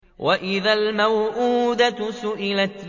وَإِذَا الْمَوْءُودَةُ سُئِلَتْ